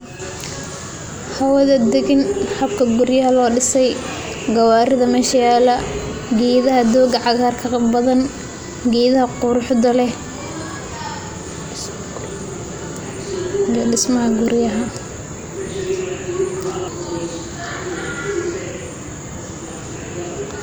Hawatha dagaan habka guuriyaha lo disay, gawaritha meesha yaala Geetha dooga cagarka oo bathan geetha quruxda leeh dismaha guuriyaha.